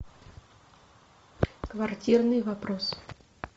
квартирный вопрос